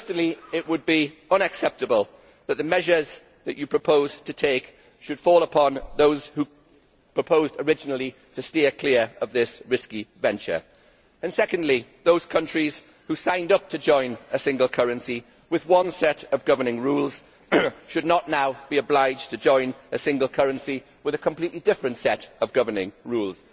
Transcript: First, it would be unacceptable that the measures it is proposed we take should fall upon those who proposed originally to steer clear of this risky venture and, second, those countries who signed up to join a single currency with one set of governing rules should not now be obliged to join a single currency with a completely different set of governing rules.